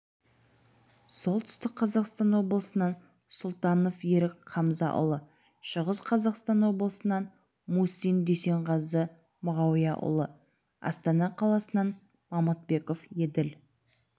солтүстік қазақстан облысынан сұлтанов ерік хамзаұлы шығыс қазақстан облысынан мусин дүйсенғазы мағауияұлы астана қаласынан мамытбеков еділ